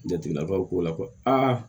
Jateminɛw ko la ko aa